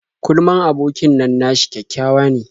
Kurman abokin nan nashi kyakkyawa ne.